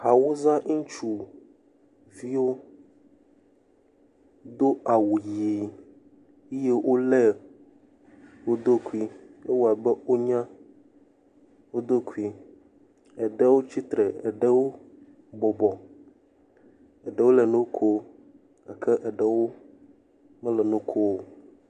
Awusa ŋutsuviwo do awu ʋie eye wolé woɖokui, ewɔ abe wonya woɖokui. Ɖewo tsi tre, eɖewo bɔbɔ, eɖewo le nu koo gake eɖewo mele nu koo.